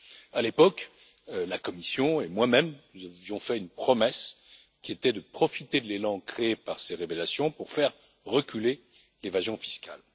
À l'époque, la Commission et moi même vous avions fait une promesse, qui était de profiter de l'élan créé par ces révélations pour faire reculer l'évasion fiscale.